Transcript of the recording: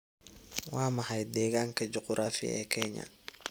waa maxay deegaanka juqraafi ee Kenya